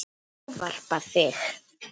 Ég ávarpa þig